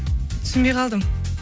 түсінбей қалдым